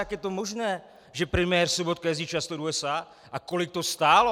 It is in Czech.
Jak je to možné, že premiér Sobotka jezdí často do USA, a kolik to stálo?